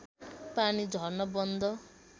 पानी झर्न बन्द